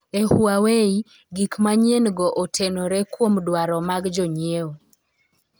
E Huawei, gik manyien-go otenore kuom dwaro mag jonyiewo.